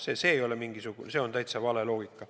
See on täitsa vale loogika.